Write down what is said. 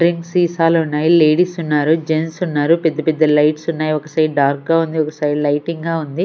Drink సీసాలు ఉన్నాయి ladies ఉన్నారు జెంట్స్ ఉన్నారు పెద్ద పెద్ద లైట్స్ ఉన్నాయి ఒక సైడ్ డార్క్ గా ఉంది ఒక సైడ్ లైటింగ్ గా ఉంది.